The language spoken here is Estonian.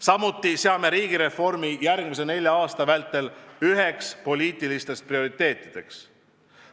Samuti seame järgmise nelja aasta vältel üheks poliitiliseks prioriteediks riigireformi.